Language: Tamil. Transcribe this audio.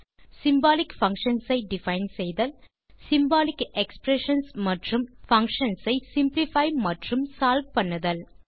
சிம்பாலிக் பங்ஷன்ஸ் ஐ டிஃபைன் செய்தல் சிம்பாலிக் எக்ஸ்பிரஷன்ஸ் மற்றும் பங்ஷன்ஸ் ஐ சிம்ப்ளிஃபை மற்றும் சால்வ் பண்ணுதல்